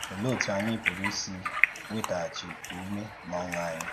Òlee otú ànyì pùrù um ìsì nwètàghàchì ùmè na ọ́ṅụ̀ ànyì?